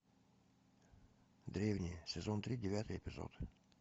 древние сезон три девятый эпизод